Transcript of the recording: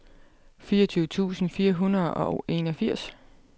fireogtyve tusind fire hundrede og enogfirs